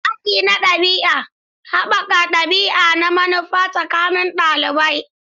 Hakki na ɗabi'a: haɓaka ɗabi'a da manufa tsakanin ɗalibai.